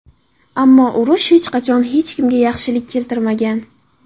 Ammo urush hech qachon hech kimga yaxshilik keltirmagan”.